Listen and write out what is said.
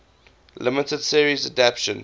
limited series adaptation